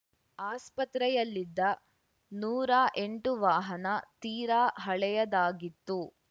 ಆಸ್ಪತ್ರೆಯಲ್ಲಿದ್ದ ನೂರಾ ಎಂಟು ವಾಹನ ತೀರ ಹಳೆಯದಾಗಿತ್ತು